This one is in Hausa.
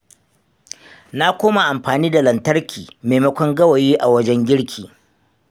Na koma amfani da lantarki maimakon gawayi a wajen girki.